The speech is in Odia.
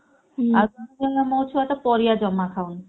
ମୋ ଛୁଆଟା ପରିବା ଜମା ଖାଉନି।